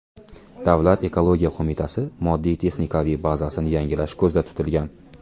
Davlat ekologiya qo‘mitasi moddiy-texnikaviy bazasini yangilash ko‘zda tutilgan.